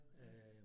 Ja